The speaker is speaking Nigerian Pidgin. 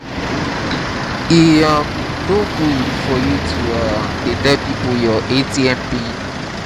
e um no good for you to um dey tell people your atm pin